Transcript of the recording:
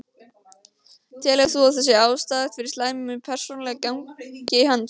Telur þú að það sé ástæða fyrir slæmu persónulegu gengi hans?